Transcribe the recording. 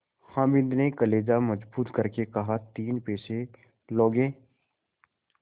हामिद ने कलेजा मजबूत करके कहातीन पैसे लोगे